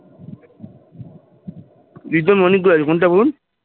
প্রিতম অনেক গুলো আছে কোনটা বল?